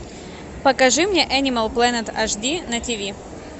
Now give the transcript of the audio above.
покажи мне энимал плэнет аш ди на тиви